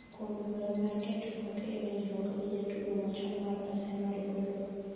kuom dwaro mar keto koke e winjruok gi jatugono machom mar Arsenal oloo